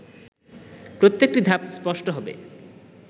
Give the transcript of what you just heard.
প্রত্যেকটি ধাপ স্পষ্ট হবে